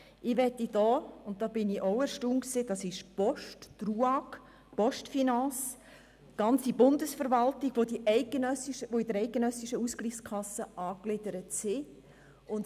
Ich war auch erstaunt darüber, dass es sich dabei um die Post, die RUAG, die Postfinance oder auch die gesamte Bundesverwaltung handelt, welche der eidgenössischen Ausgleichskasse angegliedert sind.